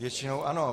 Většinou ano.